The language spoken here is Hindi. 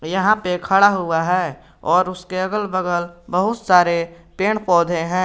यहां पे खड़ा हुआ है और उसके अगल बगल बहुत सारे पेड़ पौधे हैं।